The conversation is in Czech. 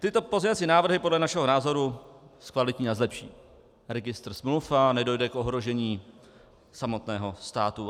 Tyto pozměňovací návrhy podle našeho názoru zkvalitní a zlepší registr smluv a nedojde k ohrožení samotného státu.